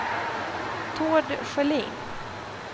Tord Sjölin